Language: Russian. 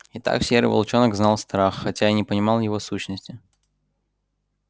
итак серый волчонок знал страх хотя и не понимал его сущности